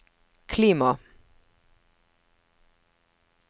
klima